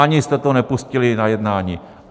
Ani jste to nepustili na jednání.